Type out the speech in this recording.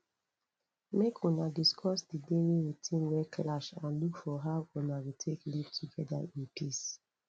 make una discuss the daily routine wey clash and look for how una go take live together in peace